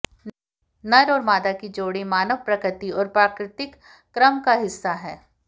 नर और मादा की जोड़ी मानव प्रकृति और प्राकृतिक क्रम का हिस्सा है